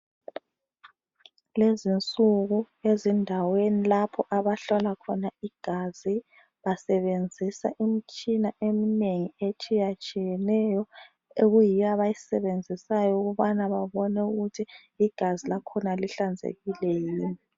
Lezinsuku ezindaweni lapho abahlola khona igazi basebenzisa imitshina eminengi etshiyatshiyeneyo ekuyiyo abayisebenzisayo ukubana babone ukuthi igazi lakhona lihlanzekile yini.